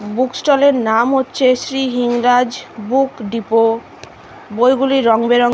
বুকস্টলের নাম হচ্ছে Shri Hingraj book depot বইগুলি রং বেরঙের ।